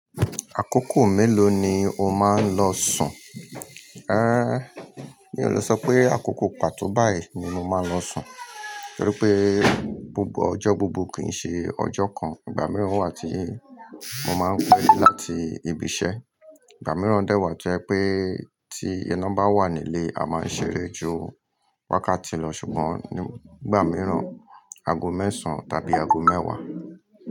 Àkókò mélòó ni o máa ń lọ sùn? Eh, mi ò le sọ pé àkókò pàtó báyìí ni mo máa ń lọ sùn, torí pé, búburú ọjọ́ gbogbo kì n ṣe ọjọ́ kan. Ìgbà mìíràn wà tí mo máa ń pẹ́ láti ibi iṣẹ́. Ìgbà mìíràn dẹ́ wà toje pe ẹ Ti won bà wà nílé, a máa ń ṣeré ju wákàtí lọ, ṣùgbọ́n nígbà mìíràn, ago mẹ́sàn tàbí ago mẹ́wàá.